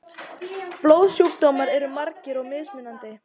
Blóðsjúkdómar eru margir og mismunandi.